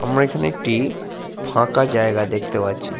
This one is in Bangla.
আমরা এখানে একটি ফাঁকা জায়গা দেখতে পাচ্ছি।